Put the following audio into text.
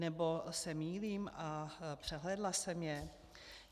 Nebo se mýlím a přehlédla jsem ji?